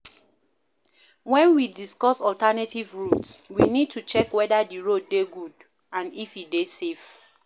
when we dey discuss alternative route we need to check weda di road dey good and if e dey safe